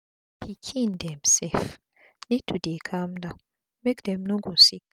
pikin dem sef need to dey calm down make dem no go sick